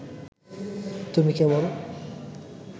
তুমি কেবল